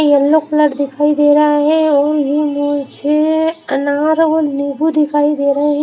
Yellow colour दिखाई दे रहा है और मुझे अनार और नींबू दिखाई दे रहे हैं।